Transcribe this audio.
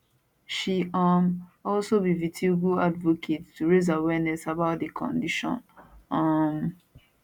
she um also be vitiligo advocate to raise awareness about di condition um